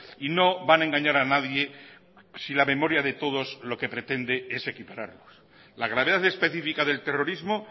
y no van a engañar a nadie si la memoria de todos lo que pretende es equipararnos la gravedad específica del terrorismo